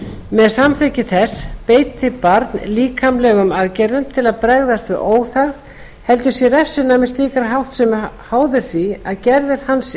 með samþykki þess beiti barn líkamlegum aðgerðum til að bregðast við óþægð heldur sé refsinæmi slíkrar háttsemi háð því að gerðir hans